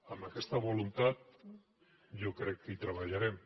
amb aquesta voluntat jo crec hi treballarem